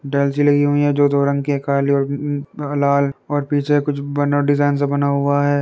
डाइल्स भी लगी हुई है जो दो रंग के काले और ल लाल पीछे कुछ डिजाइन सा बना हुआ है।